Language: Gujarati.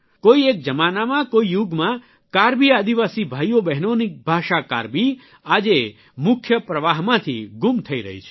કોઇ એક જમાનામાં કોઇ યુગમાં કાર્બિ આદિવાસી ભાઇઓબહેનોની ભાષા કાર્બિ આજે મુખ્ય પ્રવાહમાંથી ગુમ થઇ રહી છે